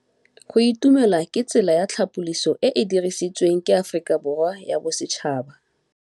Go itumela ke tsela ya tlhapolisô e e dirisitsweng ke Aforika Borwa ya Bosetšhaba.